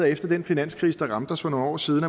efter den finanskrise der ramte os for nogle år siden